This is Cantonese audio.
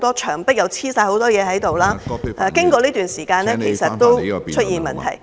牆上貼滿紙張，經過一段時間後，其實已經出現問題......